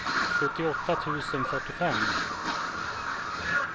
sjuttioåtta tusen fyrtiofem